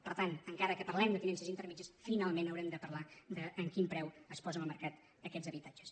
per tant encara que parlem de tinences intermèdies finalment haurem de parlar de amb quin preu es posen al mercat aquests habitatges